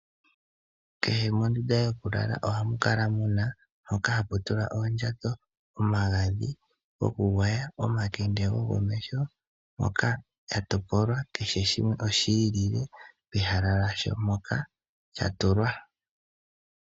Kehe mondunda yokukalala ohamu kala ehala mpoka hapu tulwa oondjato, omagadhi, omakende gokomeho, na mbika ohayi kala yi itulilwa, nenge tutye kehe shimwe ohashi kala sha tulwa pehala lyasho.